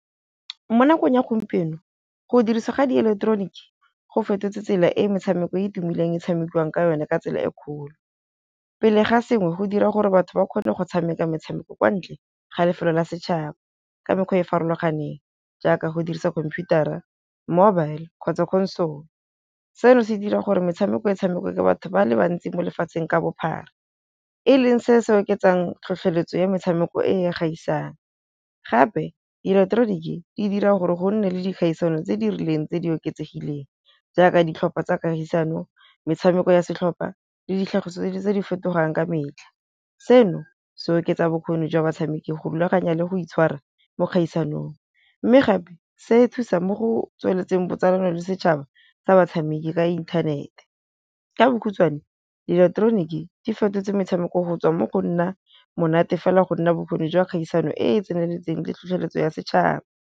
Mo nakong ya gompieno, go dirisa ga di ileketeroniki go fetotse tsela e e metshameko e e tumileng e tshamekiwang ka yone ka tsela e kgolo. Pele ga sengwe go dira gore batho ba kgone go tshameka metshameko kwa ntle ga lefelo la setšhaba ka mekgwa e e farologaneng, jaaka go dirisa computer-ra, mobile kgotsa console, seno se dira gore metshameko e tshamekwe ke batho ba le bantsi mo lefatsheng ka bophara e leng se se oketsang tlhotlheletso ya metshameko e e kgaisang. Gape ileketeroniki di dira gore gonne le dikgaisano tse di rileng tse di oketsegileng jaaka ditlhopha tsa kagisano, metshameko ya setlhopha le ditlhagiso tse di fetogang ka metlha seno se oketsa bokgoni jwa batshameki go rulaganya le go itshwara mo kgaisanong, mme gape se e thusang mo go tsweletseng botsalano le setšhaba sa batshameki ka inthanete. Ka bokhutswane dieleketeroniki di fetotse metshameko go tswa mo go nna monate fela go nna bokgoni jwa kgaisano e e tseneletseng le tlhotlheletso ya setšhaba.